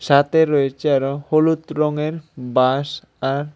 ছাতে রয়েছে আরও হলুদ রঙের বাঁশ আর--